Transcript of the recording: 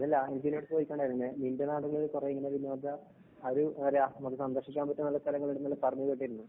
ചോദിച്ചിട്ടുണ്ടാരുന്നു നിന്‍റെ നാട്ടില്‍ ഇങ്ങനെ കുറേ വിനോദ ഒരു നമുക്ക് സന്ദര്‍ശിക്കാന്‍ പറ്റുന്ന നല്ല സ്ഥലങ്ങള്‍ ഉണ്ടെന്നു പറഞ്ഞു കേട്ടിരുന്നു.